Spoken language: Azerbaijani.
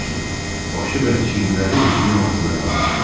Başı və çiyinləri suyun altında qalmışdı.